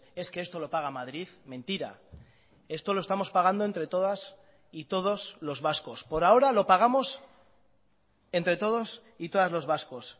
es que esto lo paga madrid mentira esto lo estamos pagando entre todas y todos los vascos por ahora lo pagamos entre todos y todas los vascos